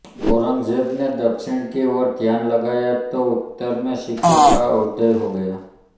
औरंगज़ेब ने दक्षिण की ओर ध्यान लगाया तो उत्तर में सिखों का उदय हो गया